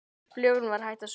Flugan var hætt að suða.